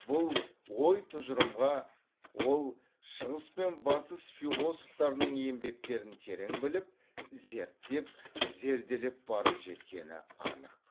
бұл ой тұжырымға ол шығыс пен батыс философтарының еңбектерін терең біліп зерттеп зерделеп барып жеткені анық